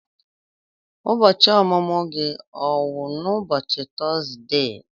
Ụbọchị ọmụmụ gị ọ wụ n'ubochi Tọzdee?